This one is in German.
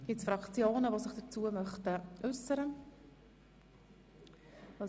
Gibt es Fraktionen, die sich dazu äussern möchten?